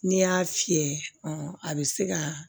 N'i y'a fiyɛ a bɛ se ka